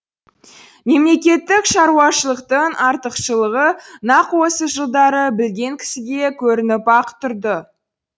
мемлекеттік шаруашылықтың артықшылығы нақ осы жылдары білген кісіге көрініп ақ тұрды